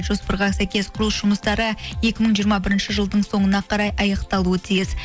жоспарға сәйкес құрылыс жұмыстары екі мың жиырма бірінші жылдың соңына қарай аяқталуы тиіс